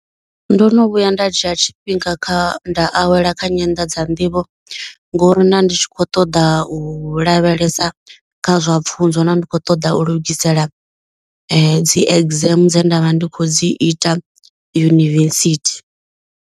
Ndo no vhuya nda dzhia tshifhinga kha nda awela kha nyanḓadza nḓivho. Ngo ri nda ndi tshi kho ṱoḓa u lavhelesa kha zwa pfhunzo. Nda ndi kho ṱoḓa u lugisela dzi exam dze nda vha ndi khou dzi ita yunivesithi.